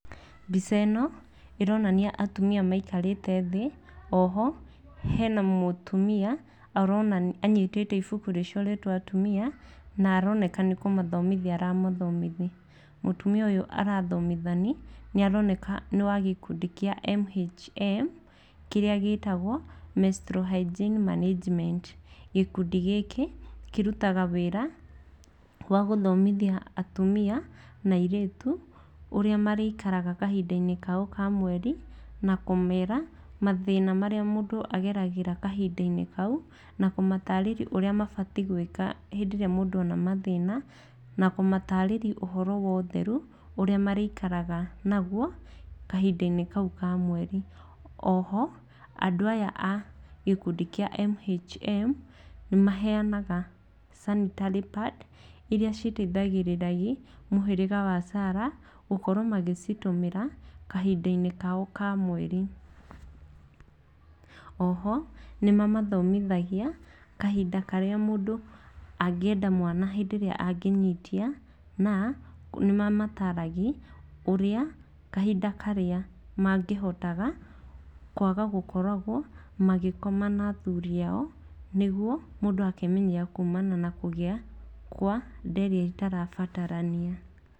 Mbica ĩno ĩronania atumia maikarĩte thĩ, oho hena mũtumia arona anyitĩte ibuku rĩcoretwo atumia na aroneka nĩ kũmathomithia aramathomithia. Mũtumia ũyũ arathomithani aroneka nĩwa gĩkundi kĩa MHM kĩrĩa gĩtagwo Menstrual Hygiene Management. Gĩkundi gĩkĩ, kĩrutaga wĩra wa gũthomithia atumia na airĩtu ũrĩa marĩikaraga kahinda-inĩ kao ka mweri na kũmera mathĩna marĩa mũndũ ageragĩra kahinda-inĩ kau na kũmatarĩri ũrĩa mũndũ abatiĩ gwĩka rĩrĩa mũndũ akora ona mathĩna, na kũmatarĩria ũhoro wa ũtheru ũrĩa marĩikaraga naguo kahinda-inĩ kau ka mweri. Oho, andũ aya a gĩkundi kĩa MHM nĩmaheanaga sanitary pad iria citaithagĩrĩrai mũhĩrĩga wa Sarah gũkorwo magĩcitũmĩra kahinda-inĩ kao ka mweri. Oho nĩmamathomithagia kahinda karĩa mũndũ angĩenda mwana hĩndĩ ĩrĩa angĩnyitia na nĩmamataragi ũrĩa kahinda karĩa mangĩhotaga kwaga gũkoragwo magĩkoma na athuri ao nĩguo mũndũ akemanyerera kumana na kũgĩa na kũgĩa kwa nda ĩtarabatarania.